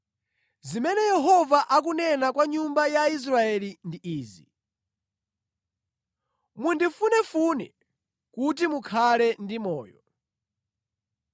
Zimene Yehova akunena kwa nyumba ya Israeli ndi izi: “Mundifunefune kuti mukhale ndi moyo;